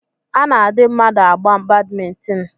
A na-adị mmadụ agba Badmịntịn